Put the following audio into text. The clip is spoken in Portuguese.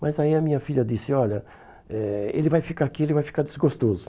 Mas aí a minha filha disse, olha, eh ele vai ficar aqui, ele vai ficar desgostoso.